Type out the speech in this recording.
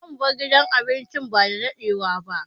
Zamu bar gidan abincin ba dadadewa ba.